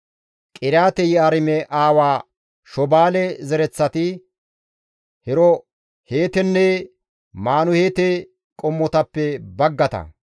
Qiriyaate-Yi7aarime aawa Shobaale zereththati, Heroheetenne Manahaate qommotappe baggata.